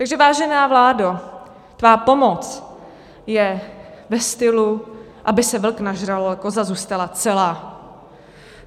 Takže vážená vládo, tvá pomoc je ve stylu, aby se vlk nažral a koza zůstala celá.